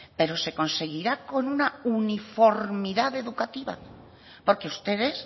pero se conseguirá con una uniformidad educativa porque ustedes